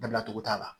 Dabilacogo t'a la